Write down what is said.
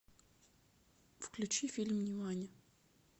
включи фильм нимани